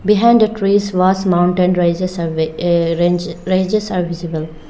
Behind the trees vast mountain ranges are visible.